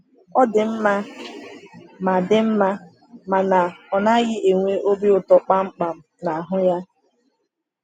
Ọ dị mma ma dị mma mana ọ naghị enwe obi ụtọ kpamkpam na ahụ ya.